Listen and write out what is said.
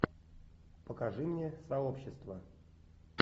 покажи мне сообщество